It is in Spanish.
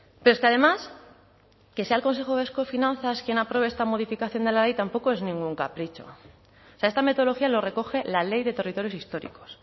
pero es que además que sea el consejo vasco de finanzas quien apruebe esta modificación de la ley tampoco es ningún capricho esta metodología lo recoge la ley de territorios históricos